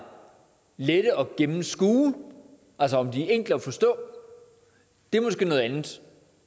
lette at gennemskue altså om de er enkle at forstå er måske noget andet